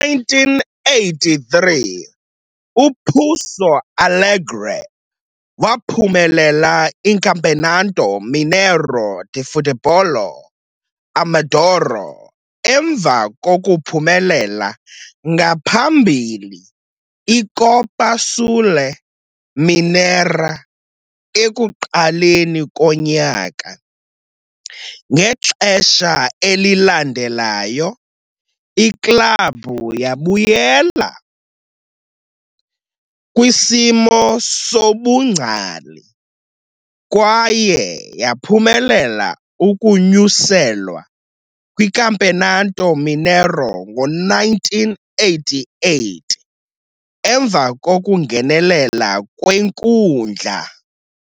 Ngo-1983, uPouso Alegre waphumelela iCampeonato Mineiro de Futebol Amador, emva kokuphumelela ngaphambili iCopa Sul Mineira ekuqaleni konyaka. Ngexesha elilandelayo, iklabhu yabuyela kwisimo sobungcali, kwaye yaphumelela ukunyuselwa kwiCampeonato Mineiro ngo-1988 emva kokungenelela kwenkundla.